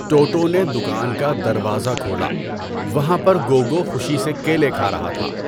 ٹوٹو نے دکان کا دروازہ کھولا، وہان پر گوگو خوشی سے کیلے کھا رہا تھا۔